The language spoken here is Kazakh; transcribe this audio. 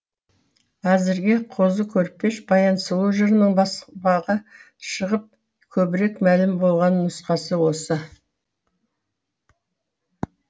әзірге қозы көрпеш баян сұлу жырының баспаға шығып көбірек мәлім болған нұсқасы осы